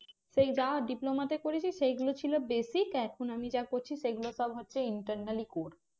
সেই যা diploma তে করেছি সেই গুলো ছিল basic এখন আমি যা করছি সেগুলো সব হচ্ছে internally core